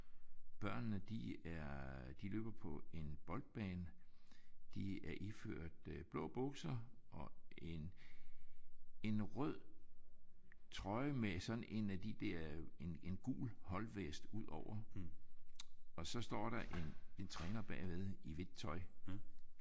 Børnene de er de løber på en boldbane. De er iført blå bukser og en en rød trøje med sådan en af de der en en gul holdvest udover. Og så står der en træner bagved i hvidt tøj